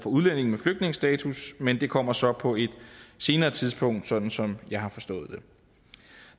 udlændinge med flygtningestatus men det kommer så på et senere tidspunkt sådan som jeg har forstået